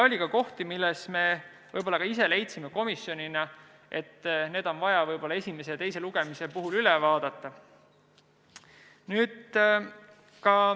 Oli ka kohti, mille kohta me ise leidsime komisjonina, et need on vaja võib-olla esimese ja teise lugemise vahel üle vaadata.